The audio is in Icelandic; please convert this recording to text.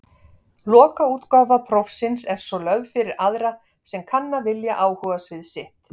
Lokaútgáfa prófsins er svo lögð fyrir aðra sem kanna vilja áhugasvið sitt.